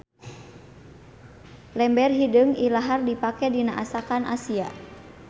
Lember hideung ilahar dipake dina asakan Asia.